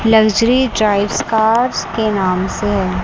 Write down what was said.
Luxury drives cars के नाम से है।